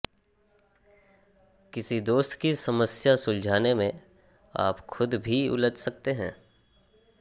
किसी दोस्त की समस्या सुलझाने में आप खुद भी उलझ सकते हैं